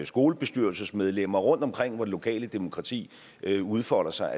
skolebestyrelsesmedlemmer rundtomkring hvor det lokale demokrati udfolder sig